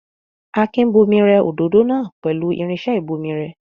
Akin bomirẹ òdòdó náà pẹ̀lú irinṣẹ́ ìbomirẹ.